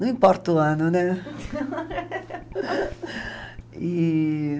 Não importa o ano, né? E...